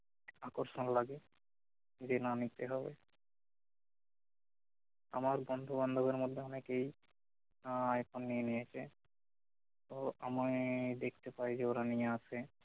আকর্ষণ লাগে যে না নিতে হবে আমার বন্ধু বান্ধবের মধ্যে অনেকেই আহ আইফোন নিয়ে নিয়েছে তো আমিই দেখতে পাই যে ওরা নিয়ে আসে